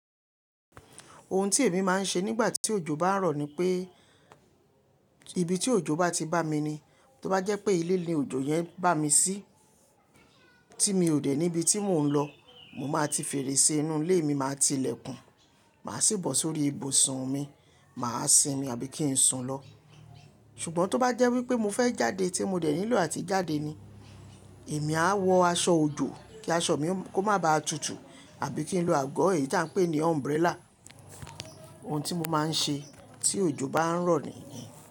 Ohun tí èmi máa ń ṣe nígbà tí òjò bá ń rọ̀ ni pé ibi tí òjò bá ti bá mi ni, tó bá jẹ́ pé ilé ni òjò yẹn bá mi sí tí mi ò dé níbi tí mò ń lọ, mo máa ti fèrèsé inú ilé mi, màá ti ilẹ̀kùn, màá sì bọ̀ sórí ibùsùn mi, màá sinmi àbí kí ń sùn lọ. Ṣùgbọ́n tó bá jẹ́ wípé mo fẹ́ jáde tí mo dẹ̀ nílò àti jáde ni, èmi á wọ aṣọ òjò kí aṣọ mi kó má baà tutù àbí kí n lo àgọ́ èyí tí à ń pè ní umbrella. Ohun tí mo máa ń ṣe tí òjò bá ń rọ̀ nìyẹn.